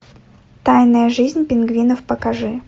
тайная жизнь пингвинов покажи